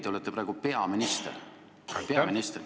Te olete praegu peaminister – peaminister!